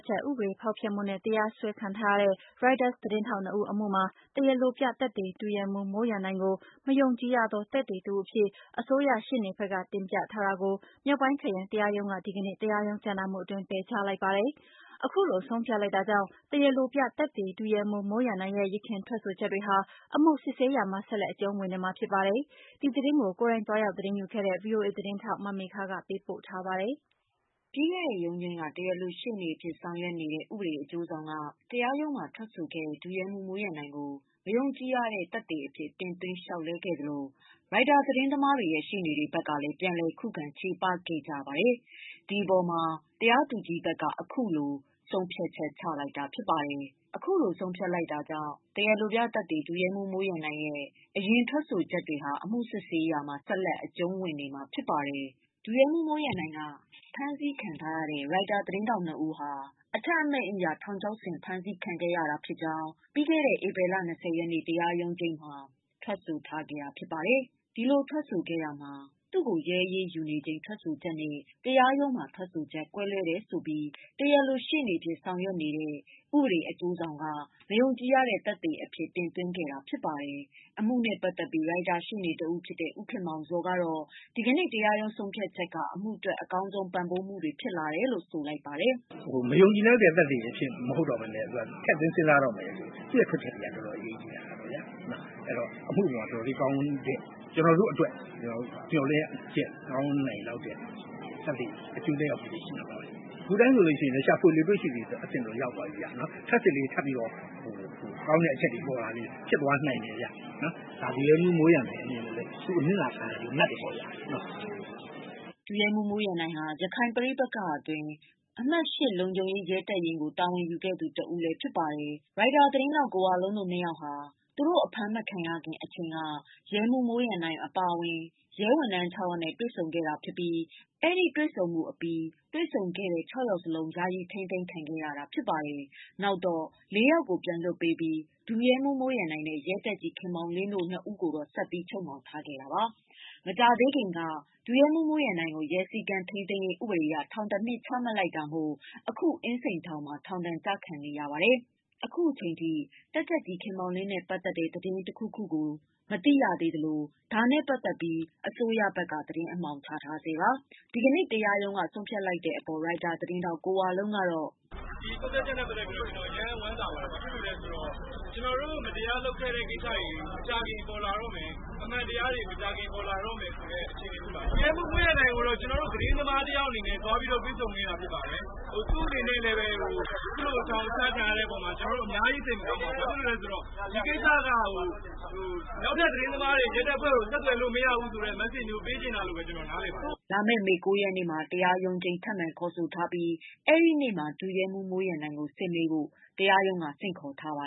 ချက် ဥပဒေ ဖောက်ဖျက်မှုနဲ့ တရားစွဲခံထားရတဲ့ Reuters သတင်းထောက် ၂ ဦးအမှု မှာ တရားလိုပြသက်သေ ဒုရဲမှူး မိုးရန်နိုင်ကို မယုံကြည် ရသော သက်သေတဦး အဖြစ် အစိုးရ ရှေ့နေဘက်က တင်ပြထားတာကို မြောက်ပိုင်းခရိုင်တရားရုံးက ဒီကနေ့ တရားရုံးကြားနာမှုအတွင်း ပယ်ချလိုက်ပါတယ်။ အခုလိုဆုံးဖြတ်လိုက်တာကြောင့် တရားလိုပြသက်သေ ဒုရဲမှူး မိုးရန်နိုင်ရဲ့ ယခင်ထွက် ဆိုချက်တွေဟာ အမှုစစ်ဆေးရာမှာ ဆက်လက်အကျုံးဝင်နေမှာဖြစ်ပါတယ်။ ဒီသတင်းကိုကိုယ်တိုင်သွားရောက် သတင်းယူခဲ့တဲ့ ဗွီအိုအေ သတင်းထောက်မေခကပေးပို့ထားပါတယ်။ ပြီးခဲ့တဲ့ ရုံးချိန်းက တရားလို ရှေ့နေအဖြစ် ဆောင်ရွက်နေတဲ့ ဥပဒေအကျိုးဆောင်က တရားရုံးမှာ ထွက်ဆိုခဲ့တဲ့ ဒုရဲမှူး မိုးရန်နိုင်ကို မယုံကြည်ရသော သက်သေ အဖြစ် တင်သွင်း လျောက်လဲခဲ့သလို Reuters ရှေ့နေတွေ ဘက်ကလည်း ပြန်လည် ခုခံချေပခဲ့ကြတဲ့အပေဓ တရားသူကြီးဘက်က အခုလိုဆုံးဖြတ် ချက်ချလိုက်တာဖြစ်ပါတယ်။ အခုလိုဆုံးဖြတ်လိုက်တာကြောင့် တရားလိုပြသက်သေ ဒုရဲမှူး မိုးရန်နိုင်ရဲ့ အရင် ထွက်ဆိုချက်တွေဟာ အမှုစစ်ဆေးရာမှာ ဆက်လက်အကျုံးဝင်နေမှာဖြစ်ပါတယ်။ ဒုရဲမှုးမိုးရန်နိုင်က ဖမ်းဆီခံထားရတဲ့ Reuters သတင်းထောက် ၂ ဦးဟာ အထက်အမိန့်အရ ထောင်ချောက်ဆင်ဖမ်းဆီးခဲ့ရကြောင်း ဧပြီလ ၂၀ ရက်နေ့ တရားရုံးချိန်းမှာထွက်ဆိုထားတာဖြစ်ပါတယ်။ ဒီလိုထွက်ဆိုတာမှာ သူရဲ့ရဲအရေးယူခံရချိန်ထွက်ဆိုချက်နဲ့ တရားရုံးထွက်ဆိုချက် ကွဲလွဲတယ် ဆိုပြီး တရားလို ရှေ့နေအဖြစ် ဆောင်ရွက်နေတဲ့ ဥပဒေအကျိုးဆောင်က မယုံကြည်ရတဲ့ သက်သေ အဖြစ်တင်သွင်းလာခဲ့တာဖြစ်ပါတယ်။ အမှုနဲ့ပတ်သတ်ပြီး ရိုက်တာရှေ့နေတဦး ဖြစ်တဲ့ ဦးခင်မောင်ဇော်ကတော့ ဒီကနေ့တရားရုံးဆုံးဖြတ်ချက်က အမှုအတွက် အကောင်းဆုံးပံ့ပိုးမှုတွေ ရလာတယ်လို့ ဆိုလိုက်ပါတယ်။ "မယုံကြည်လောက်တဲ့ သက်သေမဟုတ်ဘဲနဲ့ ထည့်သွင်းစဉ်းစားမှာဆိုတော့ သူ့ထွက်ချက်တွေက တော်တော်လေးအရေးကြီးလာပြီပေါ့နော်။ ကျနော်တို့အတွက်ကောင်းတဲ့ မေ ျှာ်လင့်ချက်အကျိုးသက်ရောက်မှုတွေရှိလာပါလိမ့်မယ်။ ခုတိုင်းဆိုရှာဖွေလေ တွေ့ရှိလေ အဆင့်တော့ရောက် သွားပြီပေါ့။ ထပ်စစ်လေကောင်းတဲ့ အချက်တွေပေါ်လာလေ ဖြစ်သွားနိုင်တယ်ဗျ။ ဒုရဲမှုးမိုးရန်နိုင်အနေနဲ့လဲ သူအနစ်နာခံရကျိုးနပ်တယ်ပေါ့ဗျာ။" ဒုရဲမှူး မိုးရန်နိုင်ဟာ ရခိုင်ပဋိပက္ခအတွင်း အမှတ်(၈) လုံခြုံရေး ရဲတပ်ရင်း ကို တာဝန်ယူခဲ့ရသူတဦး ဖြစ်ပါတယ်။ရိုက်တာသတင်းထောက် ကိုဝလုံးတို့ နှစ်ယောက်ဟာ သူတို့ အဖမ်းမခံရခင် အချိန်က ရဲမှူး မိုးရန်နိုင်အပါအဝင် ရဲဝန်ထမ်း (၆) ယောက်နဲ့ တွေ့ဆုံခဲ့တာဖြစ်ပြီး အဲဒီတွေ့ဆုံမှု အပြီး တွေ့ဆုံခဲ့တဲ့ (၆) ယောက်လုံး ယာယီ ထိမ်းသိမ်းခံခဲ့ရတာဖြစ်ပါတယ်။ နောက်တော့ (၄) ယောက်ကို ပြန်လွှတ်ပေးခဲ့ပြီး ဒုရဲမှူးမိုးရန်နိုင်နဲ့ ရဲတပ်ကြပ်ကြီး ခင်မောင်လင်းတို့ နှစ်ယောက်ကို ဆက်ပြီး ချုပ်နှောင်ထားခံခဲ့တာပါ။ မကြာသေးခင်က ဒုရဲမှုးမိုးရန်နိုင်ကို ရဲစည်း ကမ်းထိန်းသိမ်းရေးဥပဒေအရ ထောင် ၁နှစ်ချမှတ်လိုက်တာမို့ အခု အင်းစိန်ထောင်မှာ ထောင်ဒဏ်ကျခံနေရသူတဦးဖြစ်ပါတယ်။ အခု အချိန်ထိ တပ်ကြပ်ကြီး ခင်မောင်လင်းနဲ့ပတ်သက်တဲ့ သတင်းတခုခုကိုတော့ မသိရသေးသလို ဒါနဲ့ပတ်သတ်လို့ အစိုးရဘက်က သတင်း အမှောင်ချထားဆဲပါ။ ဒီကနေ့ဆုံးဖြတ်လိုက်တဲ့ အပေါ် ရိုက်တာ သတင်းထောက်ကိုဝလုံးက " ဒီဆုံးဖြတ်ချက်နဲ့ပတ်သတ်ပြီး ကျနော်အရမ်းဝမ်းသာပါတယ်။ ဘာလို့ဆို မကြာခင် ကျနော်တို့ကိုလုပ်ခဲ့တဲ့ မတရားမှုတွေပေါ်လာတော့မယ်။ အမှန်တရားပေါ်လာ ပါတော့မယ်။ ဒုရဲမှုးမိုးရန်နိုင်ကို ကျနော်တို့သတင်းသမား တယောက်အနေနဲ့ သွားရောက်တွေ့ဆုံခဲ့တာဖြစ်ပါတယ်။ သူ့အနေနဲ့ အခုလိုထောင်ချခံရတဲ့ အပေါ်အ များကြီးစိတ်မကောင်းပါဘူး။ ဒီကိစ္စကနောက်ထပ်သတင်းသမားတွေ ရဲတွေကိုဆက်သွယ်လို့မရဘူးဆိုတဲ့ မက်စေ့ပေးချင်တာလို့ ကျနော်နား လည်ပါတယ်" လာမယ့် မေ ၉ ရက်နေ့မှာ တရားရုံးချိန်းထပ်မံခေါ်ဆိုထားပြီး အဲဒီနေ့မှာ ဒုရဲမှုးမိုးရန်နိုင်ကို စစ်မေးဖို့ တရားရုံးက ဆင့်ခေါ်ထားပါ